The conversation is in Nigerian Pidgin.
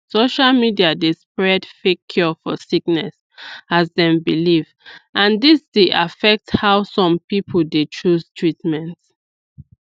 social media dey spread fake cure for sickness as dem belief and dis d affect how some people dey chose treatment